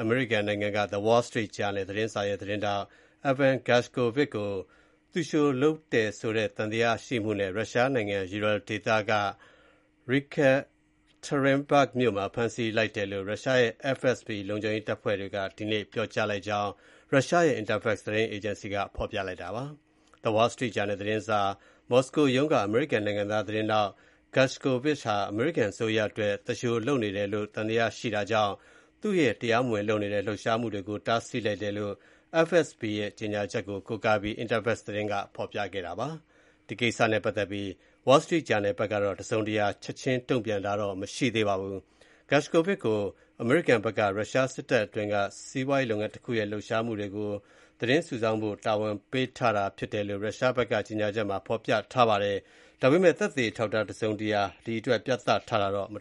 အမေရိကန်နိုင်ငံက The Wall Street Journal သတင်းစာရဲ့ သတင်းထောက် Evan Gershkovich ကို သူလျှိုလုပ်တယ်ဆိုတဲ့ သံသယရှိမှုနဲ့ ရုရှားနိုင်ငံ ယူရယ်လ်ဒေသက Yekateringburg မြို့မှာ ဖမ်းဆီးလိုက်တယ်လို့ ရုရှားပြည်ထောင်စုလုံခြုံရေး FSB တပ်ဖွဲ့တွေက ဒီနေ့မှာပြောကြားလိုက်ကြောင်း ရုရှားရဲ့ Interfax သတင်းအေဂျင်စီက ဖော်ပြပါတယ်။ The Wall Street Journal သတင်းစာ မော်စကိုရုံးက အမေရိကန်နိုင်ငံသား သတင်းထောက် Gershkovich ဟာ အမေရိကန်အစိုးရအတွက် သူလျှိုလုပ်နေတယ်လို့ သံသယရှိတာကြောင့် သူရဲ့ တရားမဝင်လုပ်နေတဲ့ လှုပ်ရှားမှုတွေကို တားဆီးလိုက်တယ်လို့ FSB ရဲ့ ကြေညာချက်ကို ကိုးကားပြီး Interfax သတင်းက ဖော်ပြပါတယ်။ ဒီကိစ္စနဲ့ ပတ်သက်ပြီး Wall Street Journal ဘက်ကတော့ တစုံတရာချက်ချင်းတုံ့ပြန်တာမရှိသေးပါဘူး။ Gershkovich ကို အမေရိကန်ဘက်က ရုရှားစစ်တပ်အတွင်းက စီးပွားရေးလုပ်ငန်းတခုရဲ့ လှုပ်ရှားမှုတွေကို စုဆောင်းဖို့ တာဝန်ပေးထားတာ ဖြစ်တယ်လို့ ရုရှားဘက်က ကြေညာချက်မှာ ပြောထားပါတယ်။ ဒါပေမဲ့ သက်သေအထောက်အထား တစုံတရာပြသထားတာတော့ မ